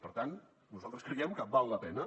per tant nosaltres creiem que val la pena